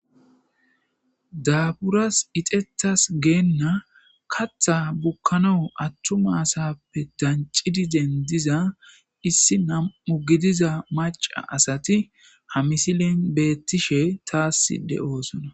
daaburas ixetas geenna katha bukkano attu masappe dancidi dendiza issi nam7u gidiza maca asati ha misilen beettishe taasside oosona